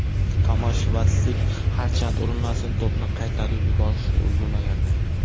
Tomash Vatslik harchand urinmasin to‘pni qaytarib yuborishga ulgurmagandi.